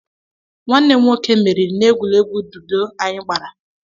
Nwanne m nwoke meriri na egwuregwu ludo anyi gbara.